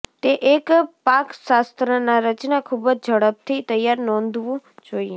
તે એક પાકશાસ્ત્રના રચના ખૂબ જ ઝડપથી તૈયાર નોંધવું જોઈએ